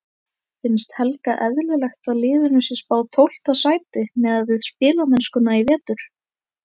Finnst Helga eðlilegt að liðinu sé spáð tólfta sæti miðað við spilamennskuna í vetur?